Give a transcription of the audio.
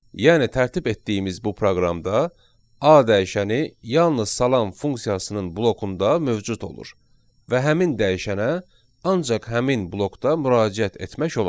Yəni tərtib etdiyimiz bu proqramda a dəyişəni yalnız salam funksiyasının blokunda mövcud olur və həmin dəyişənə ancaq həmin blokda müraciət etmək olar.